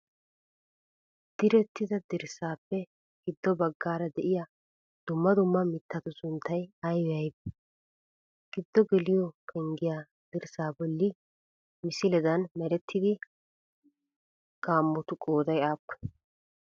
Direttida dirssaappe giddo baggaara de'iyaa dumma dumma mittatu sunttay aybee aybee? Giddo geliyoo penggiyaa dirssaa bolli misiledan merettida gaammotu qooday aappunee?